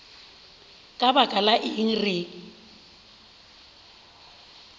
ka baka la eng re